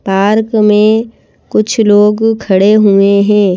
Park में कुछ लोग खड़े हुए हैं।